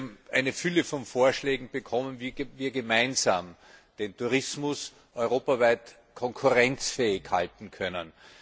Wir haben eine Fülle von Vorschlägen bekommen, wie wir gemeinsam den Tourismus europaweit konkurrenzfähig halten können.